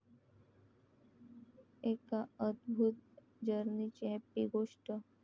एका अदभुत 'जर्नी'ची 'हॅपी' गोष्ट!